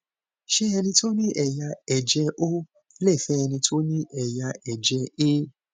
ṣé ẹni tó ní ẹyà ẹjẹ o lè fẹ ẹni tó ní ẹyà ẹjẹ a